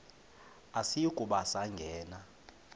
asiyi kuba sangena